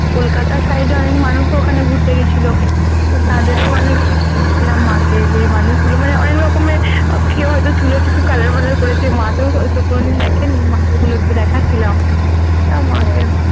কলকাতার side এর অনেক মানুষ ও ওখানে ঘুরতে গেছিলো তো তাদের ও অনেক বলছিলাম মা কে যে মানুষ গুলো মানে অনেক রকমের কি হয় চুলের কিছু color বালার করেছে মা তো ঐসব কোনোদিন দেখে নি মাকে এগুলো একটু দেখাচ্ছিলাম আহ মা কে